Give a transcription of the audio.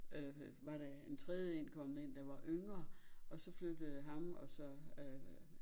Øh var der en trejde én kommet ind der var yngre og så flyttede ham og så øh